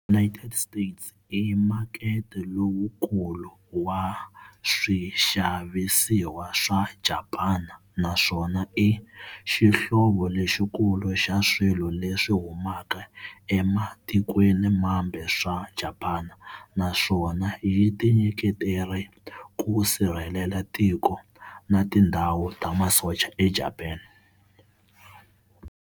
United States i makete lowukulu wa swixavisiwa swa Japani naswona i xihlovo lexikulu xa swilo leswi humaka ematikweni mambe swa Japani, naswona yi tinyiketerile ku sirhelela tiko, na tindhawu ta masocha eJapani.